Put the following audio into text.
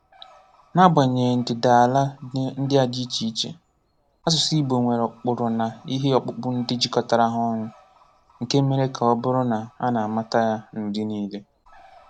N’agbanyeghị ndịdaala ndị a dị iche iche, áṣụ̀sụ̀ Ìgbò nwere ụkpụrụ na ihe ọkpụkpọ ndị jikọtara ha ọnụ, nke mere ka ọ bụrụ na a na-amata ya n’ụdị niile.